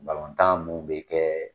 tan mun be kɛ